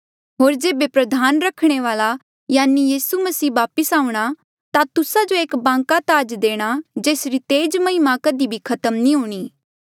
होर जेबे प्रधान रखवाला यानि यीसू मसीह दबारा वापस आऊंणा ता तुस्सा जो एक बांका ताज देणा जेसरी तेज महिमा कधी भी खत्म नी हूणीं